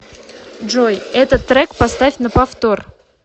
джой этот трек поставь на повтор